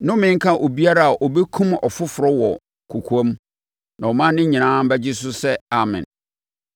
“Nnome nka obiara a ɔbɛkum ɔfoforɔ wɔ kɔkoam.” Na ɔman no nyinaa bɛgye so sɛ, “Amen!”